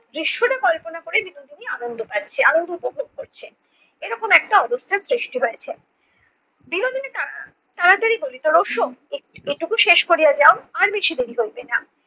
দৃশ্যটা কল্পনা করেই বিনোদিনী আনন্দ পাচ্ছে আনন্দিত উপভোগ করছে। এরকম একটা অবস্থার সৃষ্টি হয়েছে। বিনোদিনী তা~ তাড়াতাড়ি বলিত, রোশ এ~ এটুকু শেষ করিয়া যাও আর বেশি দেরি হইবে না।